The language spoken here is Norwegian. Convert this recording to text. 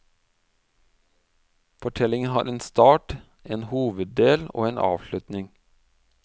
Fortellingen har en start, en hoveddel og en avslutning.